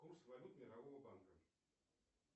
курс валют мирового банка